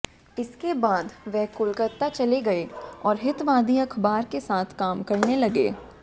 इसके बाद वे कोलकाता चले गये और हितवादी अख़बार के साथ काम करने लगे